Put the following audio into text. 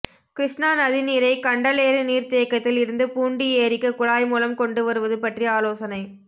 கிருஷ்ணா நதிநீரை கண்டலேறு நீர்த்தேக்கத்தில் இருந்து பூண்டி ஏரிக்கு குழாய் மூலம் கொண்டு வருவது பற்றி ஆலோசனை